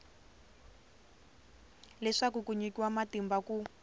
leswaku ku nyikiwa matimba ku